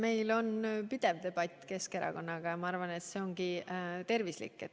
Meil on pidev debatt Keskerakonnaga ja ma arvan, et see ongi tervislik.